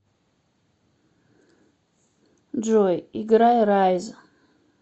джой играй райз